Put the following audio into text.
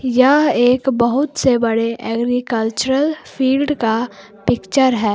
यह एक बहुत से बड़े एग्रीकल्चरल फील्ड का पिक्चर है।